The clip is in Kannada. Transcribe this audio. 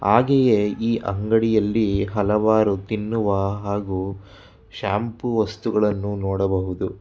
ಹಾಗೆಯೇ ಈ ಅಂಗಡಿಯಲ್ಲಿ ಹಲವಾರು ತಿನ್ನುವ ಹಾಗು ಶಾಂಪು ವಸ್ತುಗಳನ್ನು ನೋಡಬಹುದು.